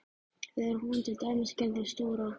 Þegar hún til dæmis gerði stóra